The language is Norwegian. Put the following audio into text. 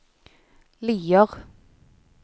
Lier